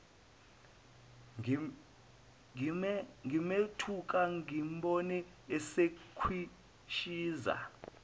ngimethuka ngimbone esekhwishiza